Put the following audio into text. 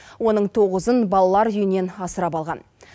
оның тоғызын балалар үйінен асырап алған